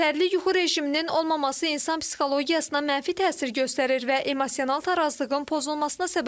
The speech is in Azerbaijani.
Yetərli yuxu rejiminin olmaması insan psixologiyasına mənfi təsir göstərir və emosional tarazlığın pozulmasına səbəb olur.